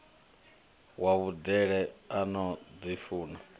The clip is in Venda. wa vhudele a no ḓifuna